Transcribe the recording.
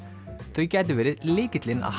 þau gætu verið lykillinn að